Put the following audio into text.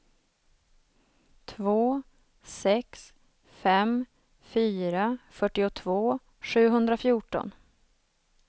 två sex fem fyra fyrtiotvå sjuhundrafjorton